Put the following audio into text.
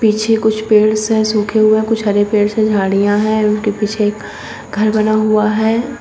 पीछे कुछ पेड़ से सूखे हुए है कुछ हरे पेड़ से झाड़ियां है उनके पीछे एक घर बना हुआ है।